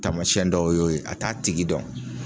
Tamasɛn dɔw y'o ye a t'a tigi dɔn